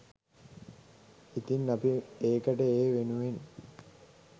ඉතින් අපි ඒකට ඒ වෙනුවෙන්